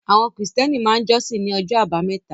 Àwọn Krìstẹ́nì máa jọ́sìn ní ọjọ́ àbámẹ́ta